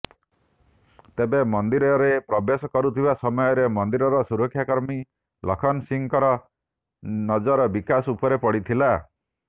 ତେବେ ମନ୍ଦିରରେ ପ୍ରବେଶ କରୁଥିବା ସମୟରେ ମନ୍ଦିରର ସୁରକ୍ଷା କର୍ମୀ ଲଖନ ସିଂହଙ୍କର ନଜର ବିକାଶ ଉପରେ ପଡ଼ିଥିଲା